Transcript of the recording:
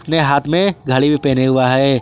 अपने हाथ में घड़ी भी पहने हुआ है।